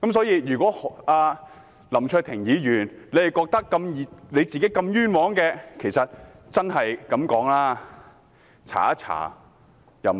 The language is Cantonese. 如果林卓廷議員認為自己如此冤枉，坦白說，大可以調查一下。